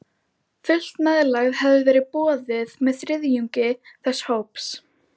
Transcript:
Fullt meðlag hafði verið boðið með þriðjungi þess hóps.